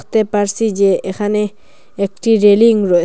দেখতে পারছি যে এখানে একটি রেলিং র--